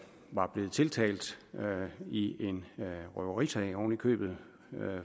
var blevet tiltalt i en røverisag oven i købet